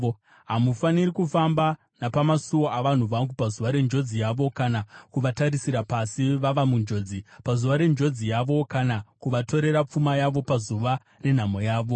Hamufaniri kufamba napamasuo avanhu vangu, pazuva renjodzi yavo, kana kuvatarisira pasi vava munjodzi, pazuva renjodzi yavo, kana kuvatorera pfuma yavo pazuva renhamo yavo.